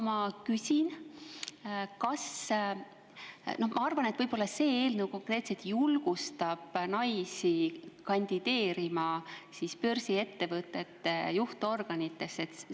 Ma arvan, et see eelnõu julgustab naisi börsiettevõtete juhtorganitesse kandideerima.